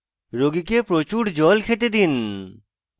রোগীকে প্রচুর জল খেতে দিন